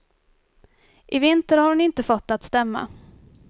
I vinter har hon inte fått det att stämma.